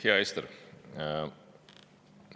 Hea Ester!